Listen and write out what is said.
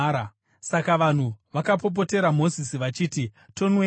Saka vanhu vakapopotera Mozisi vachiti, “Tonweiko?”